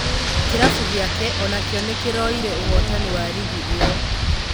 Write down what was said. Kĩrabu gĩake onakĩo nĩkĩroire ũhotani wa rigi ĩyo.